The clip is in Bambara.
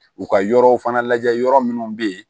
U ka yɔrɔw fana lajɛ yɔrɔ minnu bɛ yen